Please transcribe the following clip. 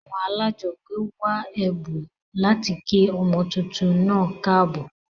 Àwon alájogbé wa èbùn láti kí ọmọ tuntun naa káàbò